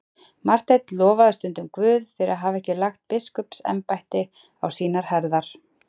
Marteinn lofaði stundum Guð fyrir að hafa ekki lagt biskupsembætti á sínar herðar.